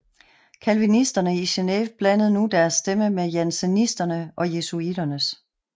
Calvinisterne i Geneve blandede nu deres stemme med jansenisternes og jesuiternes